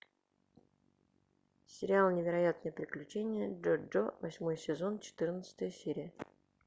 сериал невероятные приключения джоджо восьмой сезон четырнадцатая серия